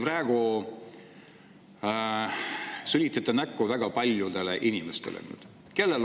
Praegu te sülitate näkku väga paljudele inimestele.